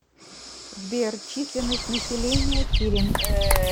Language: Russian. сбер численность населения килинг